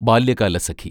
Balyakalasakhi